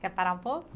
Quer parar um pouco?